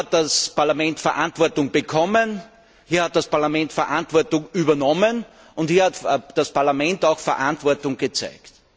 Hier hat das Parlament Verantwortung bekommen, hier hat das Parlament Verantwortung übernommen, und hier hat das Parlament auch Verantwortung gezeigt.